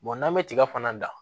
n'an bɛ tiga fana dan